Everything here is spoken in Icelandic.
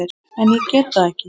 En ég get það ekki.